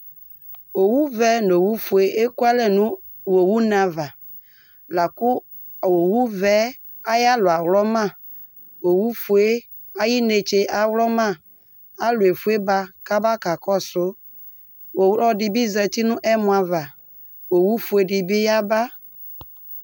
Owʋvɛ nʋ owʋfue ekʋ alɛ nʋ owʋne ava, lakʋ owʋvɛ yɛ ayʋ alɔ awlɔma Owufue yɛ ayʋ ɩnetse awlɔma Alʋ efue ba kʋ aba ka kɔsʋ Ɔlɔdɩ bɩ zǝtɩ nʋ ɛmɔ ava Owʋfue dɩ bɩ yaba